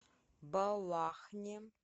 балахне